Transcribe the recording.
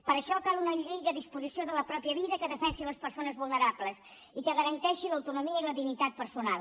per això cal una llei de disposició de la pròpia vida que defensi les persones vulnerables i que garanteixi l’autonomia i la dignitat personal